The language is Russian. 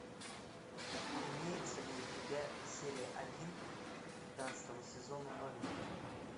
имеется ли у тебя серия один пятнадцатого сезона новенькая